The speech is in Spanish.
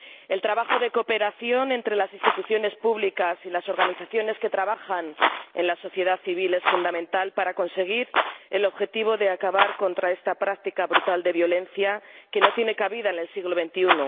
El trabajo de cooperación entre las instituciones públicas y las organizaciones que trabajan en la sociedad civil es fundamental para conseguir el objetivo de acabar con esta práctica brutal de violencia, que no tiene cabida en el siglo XXI.